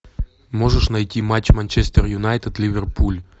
можешь найти матч манчестер юнайтед ливерпуль